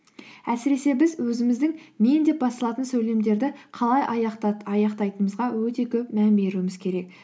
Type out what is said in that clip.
әсіресе біз өзіміздің мен деп басталатын сөйлемдерді қалай аяқтайтынымызға өте көп мән беруіміз керек